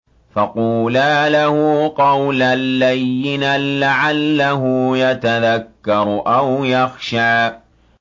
فَقُولَا لَهُ قَوْلًا لَّيِّنًا لَّعَلَّهُ يَتَذَكَّرُ أَوْ يَخْشَىٰ